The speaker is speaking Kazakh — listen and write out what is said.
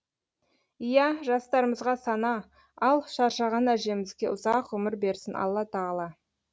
иә жастарымызға сана ал шаршаған әжемізге ұзақ ғұмыр берсін алла тағала